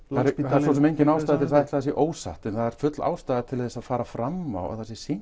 það er svo sem engin ástæða til að ætla að það sé ósatt en það er full ástæða til þess að fara fram á að það sé sýnt